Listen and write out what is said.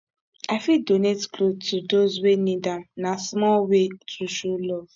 i fit donate clothes to those wey need am na small way to show love